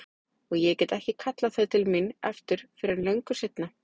Og ég get ekki kallað þau til mín aftur fyrr en löngu seinna.